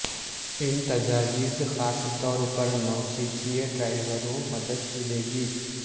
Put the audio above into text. ان تجاویز خاص طور پر نوسکھئیے ڈرائیوروں مدد ملے گی